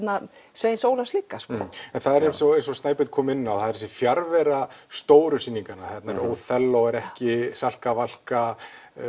Sveins Ólafs líka já en það er eins og Snæbjörn kom inn á þessi fjarvera stóru sýninganna óþelló er ekki Salka Valka